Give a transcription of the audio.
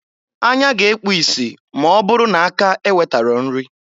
Anya ga-ekpu isi m'ọ bụrụ na aka ewetaro nri.